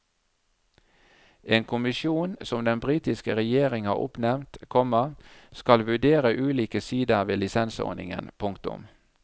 En kommisjon som den britiske regjeringen har oppnevnt, komma skal vurdere ulike sider ved lisensordningen. punktum